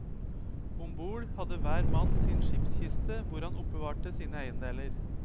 Om bord hadde hver mann sin skipskiste hvor han oppbevarte sine eiendeler.